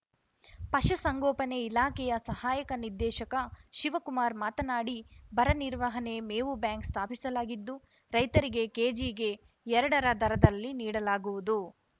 ಪಶು ಸಂಗೋಪನೆ ಇಲಾಖೆಯ ಸಹಾಯಕ ನಿರ್ದೇಶಕ ಶಿವಕುಮಾರ್ ಮಾತನಾಡಿ ಬರ ನಿರ್ವಹಣೆಗೆ ಮೇವು ಬ್ಯಾಂಕ್‌ ಸ್ಥಾಪಿಸಲಾಗಿದ್ದು ರೈತರಿಗೆ ಕೆಜಿಗೆ ಎರಡರ ದರದಲ್ಲಿ ನೀಡಲಾಗುವುದು